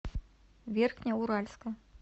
верхнеуральска